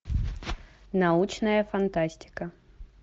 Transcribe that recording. научная фантастика